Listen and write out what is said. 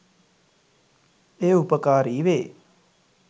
එය උපකාරිවේ